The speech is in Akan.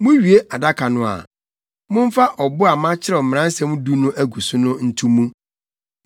Muwie adaka no a, momfa ɔbo a makyerɛw Mmaransɛm Du no agu so no nto mu.